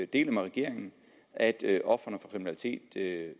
deler med regeringen at ofrene for kriminalitet